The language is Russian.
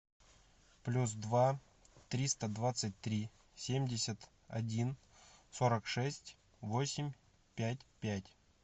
плюс два триста двадцать три семьдесят один сорок шесть восемь пять пять